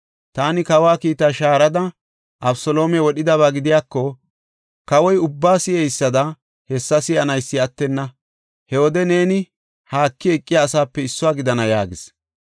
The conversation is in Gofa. Taani kawa kiitta ixada Abeseloome wodhidaba gidiyako, kawoy ubbaa si7eysada hessa si7anaysi attenna. He wode neeni haaki eqiya asaape issuwa gidana” yaagis.